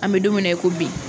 An bɛ don min na i ko bi.